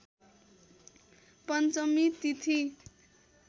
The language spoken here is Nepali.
पञ्चमी तिथि